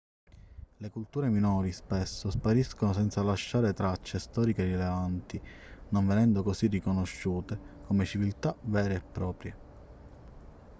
le culture minori spesso spariscono senza lasciare tracce storiche rilevanti non venendo così riconosciute come civiltà vere e proprie